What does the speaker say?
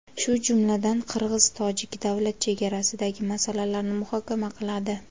shu jumladan qirg‘iz-tojik davlat chegarasidagi masalalarni muhokama qiladi.